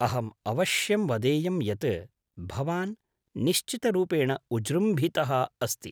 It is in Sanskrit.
अहम् अवश्यं वदेयं यत् भवान् निश्चितरूपेण उज्जृम्भितः अस्ति।